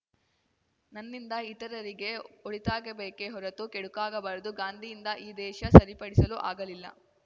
ನನ್ನಿಂದ ಇತರರಿಗೆ ಒಳಿತಾಗಬೇಕೇ ಹೊರತು ಕೆಡುಕಾಗಬಾರದು ಗಾಂಧಿಯಿಂದ ಈ ದೇಶ ಸರಿಪಡಿಸಲು ಆಗಲಿಲ್ಲ